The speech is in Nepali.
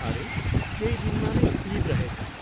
अरे, केही दिनमा नै इद रहेछ।